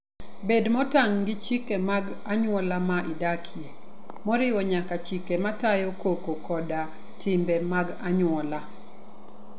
Bed motang' gi chike mag anyuola ma idakie, moriwo nyaka chike matayo koko koda timbe mag anyuola.